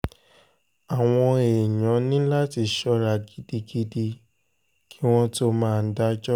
àwọn èèyàn ní láti ṣọ́ra gidigidi kí wọ́n tóó máa dájọ́